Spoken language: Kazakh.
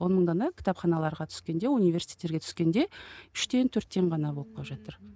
он мың дана кітапханаларға түскенде университеттерге түскенде үштен төрттен ғана болып қалып жатыр